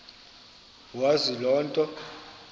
wazi loo nto